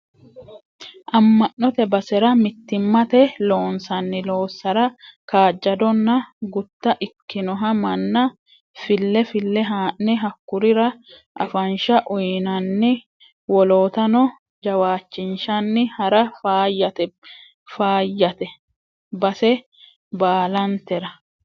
Ama'note basera mittimmate loonsanni loossara kaajjadonna gutta ikkinoha manna fille fille ha'ne hakkurira afansha uyinanni woloottano jawaachishanni hara faayyate base baallantera.